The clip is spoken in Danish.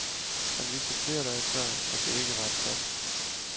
Han vidste flere dage før, at det ikke var et flop.